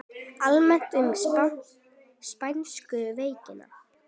Almennt um spænsku veikina